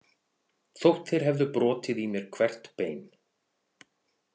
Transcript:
Þótt þeir hefðu brotið í mér hvert bein.